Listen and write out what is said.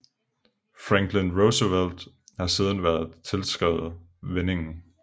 Franklin Roosevelt har siden været tilskrevet vendingen